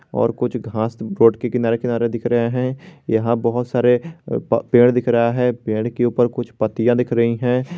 और कुछ घांस रोड के किनारे-किनारे दिख रहे हैं यहां बहोत सारे पेड़ दिख रहा है पेड़ के ऊपर कुछ पत्तियां दिख रही है।